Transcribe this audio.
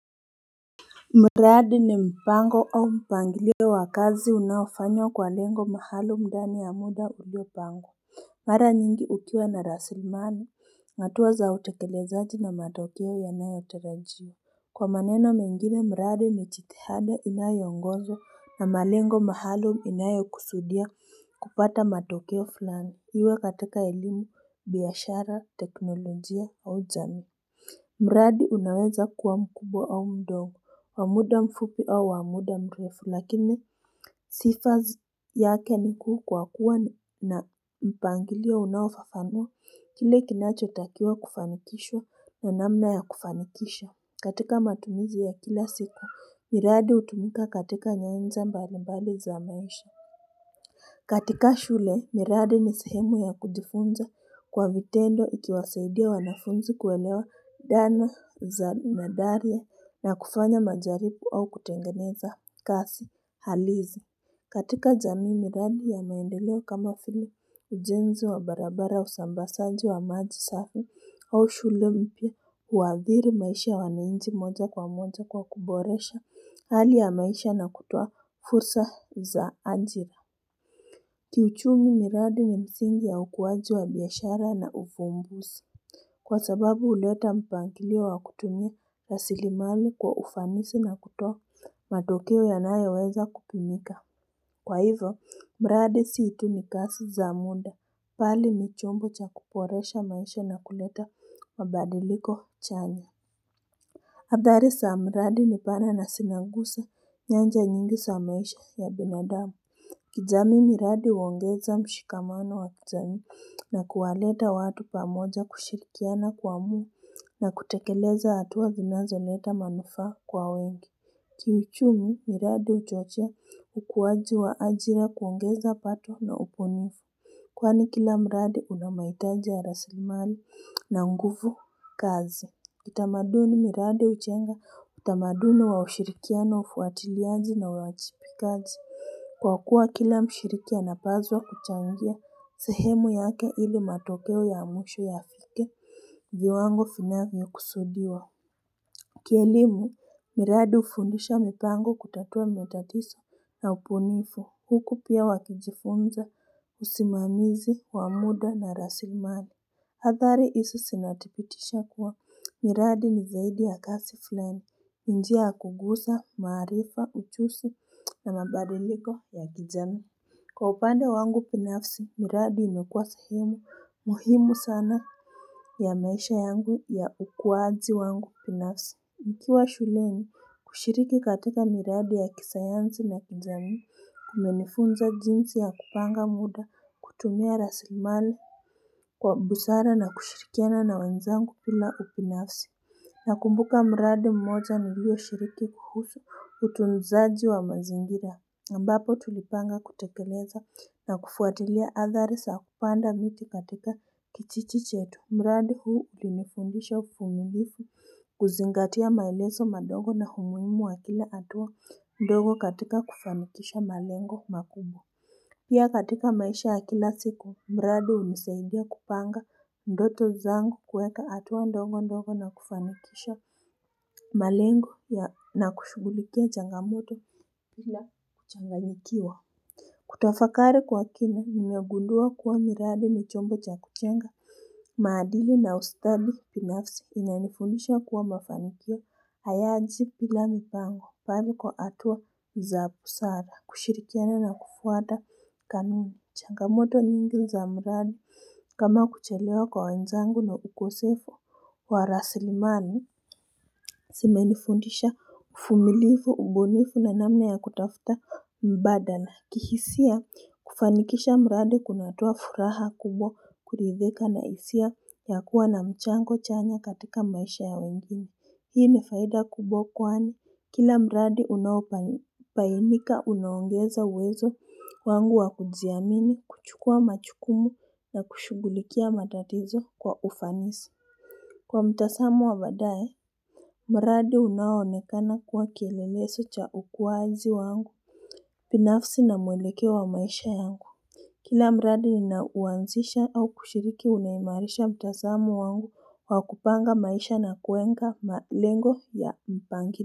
Mradi ni mpango o mpangilio wa kazi unafanywa kwa lengo maalumu ndani ya muda uliopangwa Mara nyingi ukiwa na rasilimali hatua za utekelezaji na matokeo yanayotarajiwa Kwa maneno mengine mradi ni jitihada inayoongozwa na malengo maalumu inayo kusudia kupata matokeo fulani iwe katika elimu biashara teknolojia au jamii mradi unaweza kuwa mkubwa au mdogo, wa muda mfupi au wa muda mrefu, lakini sifa z yake nikuu kwa kuwa na mpangilio unaofafanua kile kinacho takiwa kufanikishwa na namna ya kufanikisha. Katika matumizi ya kila siku, miradi hutumika katika nyanja mbalimbali za maisha. Katika shule, miradi ni sehemu ya kujifunza kwa vitendo ikiwasaidia wanafunzi kuwelewa dhana za nadharia na kufanya majaribu au kutengeneza kazi halisi. Katika jamii miradi ya naendeleo kama vile ujenzi wa barabara usambazaji wa maji safi au shule mpya huwathiri maisha ya wananchi moja kwa moja kwa kuboresha hali ya maisha na kutoa fursa za ajira Kiuchumi miradi ni misingi ya ukuwaji wa biashara na ufumbuzi Kwa sababu huleta mpangilio wa kutumia lasilimali kwa ufanisi na kutoa matokeo yanayoweza kupimika. Kwa hivyo, mradi si tu ni kazi za muda bali ni chombo cha kuboresha maisha na kuleta mabadiliko chanya Athali sa mradi ni pana na sinaguse nyanja nyingi sa maisha ya binadamu. Kijamii miradi huongeza mshikamano wa kijamii na kuwaleta watu pamoja kushirikiana kuamua na kutekeleza hatua zinazoleta manufaa kwa wengi. Kiuchumi miradi huchochea ukuwaji wa ajira kuongeza pato na ubunifu Kwani kila mradi unamahitaji ya rasilimali na nguvu kazi Kitamaduni miradi hujenga utamaduni wa ushirikiano ufuatiliaji na uwajibikaji Kwakua kila mshiriki anapaswa kuchangia sehemu yake ili matokeo ya mwisho yafike viwango vinavyo kusudiwa Kielimu, miradi hufundisha mipango kutatua matatizo na ubunifu Huku pia wakijifunza usimamizi wa muda na rasilimali athari hizi zinathibitisha kuwa miradi ni zaidi ya kazi fulani njia yakugusa, maarifa, ujuzi na mabadiliko ya kijamii Kwa upande wangu binafsi, miradi imekuwa sahimu muhimu sana ya maisha yangu ya ukuwaji wangu binafsi mkiwa shuleni kushiriki katika miradi ya kisayansi na kijamii kumenifunza jinsi ya kupanga muda kutumia rasilimali kwa busara na kushirikiana na wenzangu pila ubinafsi na kumbuka mradi mmoja nilio shiriki kuhusu utunzaji wa mazingira ambapo tulipanga kutekeleza na kufuatilia athari za kupanda miti katika kijiji chetu mradi huu ulinifundisha uvumilivu kuzingatia maelezo madogo na umuhimu wa kila hatua ndogo katika kufanikisha malengo makubwa pia katika maisha ya kila siku mradi hunisaidia kupanga ndoto zangu kuweka hatua ndogo ndogo na kufanikisha malengo ya na kushugulikia changamoto bila kuchangayikiwa kutafakari kwa kina nimegundua kuwa miradi ni chombo cha kujenga maadili na ustadi binafsi ina nifundisha kuwa mafanikio hayaji bila mipango bali kwa hatua za busara kushirikiana na kufuata kanuni changamoto nyingi za mradi kama kuchelewa kwa wenzangu na ukosefu wa raslimali zime nifundisha uvumilifu, ubunifu na namna ya kutafuta mbadala na kihisia kufanikisha mradi kunatoa furaha kubwa kuridhika na hisia ya kuwa na mchango chanya katika maisha ya wengine Hii ni faida kubwa kwani kila mradi unaobainika unaongeza uwezo wangu wa kujiamini kuchukua majukumu na kushugulikia matatizo kwa ufanisi. Kwa mtazamo wa badae mradi unaonekana kuwa kielelezo cha ukuaji wangu binafsi na muelekeo wa maisha yangu Kila mradi ninaoanzisha au kushiriki unaimarisha mtazamo wangu kwa kupanga maisha na kuwenga malengo ya mpangili.